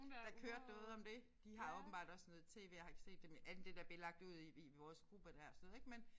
Der kørte noget om det de har åbenbart også noget TV jeg har ikke set det men andet end det der blev lagt ud i i vores gruppe der sådan noget ik men